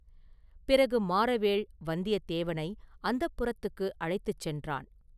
பிறகு மாறவேள் வந்தியத்தேவனை அந்தப்புரத்துக்கு அழைத்து சென்றான்.